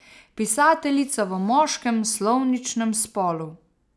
Pisateljica v moškem slovničnem spolu.